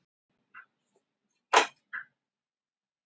Evlalía, pantaðu tíma í klippingu á mánudaginn.